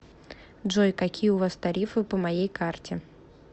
джой какие у вас тарифы по моей карте